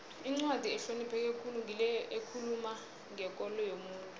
incwadi ehlonipheke khulu ngile ekhuluma ngekolo yomuntu